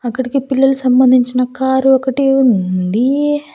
అక్కడికి పిల్లలు సంబంధించిన కారు ఒకటి ఉంది.